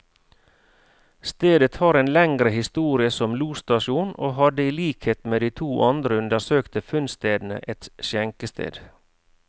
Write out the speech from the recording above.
Stedet har en lengre historie som losstasjon, og hadde i likhet med de to andre undersøkte funnstedene, et skjenkested.